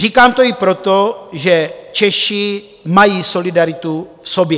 Říkám to i proto, že Češi mají solidaritu v sobě.